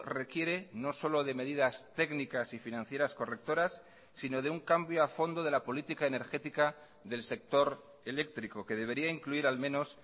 requiere no solo de medidas técnicas y financieras correctoras sino de un cambio a fondo de la política energética del sector eléctrico que debería incluir al menos